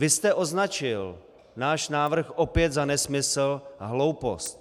Vy jste označil náš návrh opět za nesmysl a hloupost.